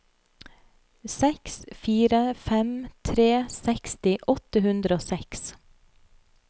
seks fire fem tre seksti åtte hundre og seks